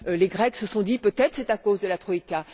Les Grecs se sont dit Peut être est ce à cause de la troïka.